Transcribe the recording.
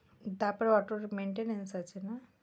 তারপরে অটোর maintenance আছে না?